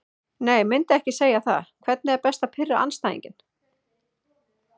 Nei myndi ekki segja það Hvernig er best að pirra andstæðinginn?